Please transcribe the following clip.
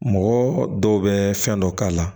Mɔgɔ dɔw bɛ fɛn dɔ k'a la